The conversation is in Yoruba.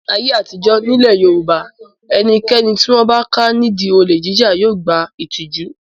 Ní ayé àtijọ́ nílẹ̀ Yorùbá ẹnikẹ́ni tí wọ́n bá ká nídi olè jíjà yóò gba ìtìjú.